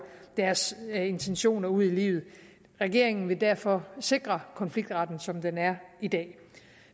deres intentioner ud i livet regeringen vil derfor sikre konfliktretten som den er i dag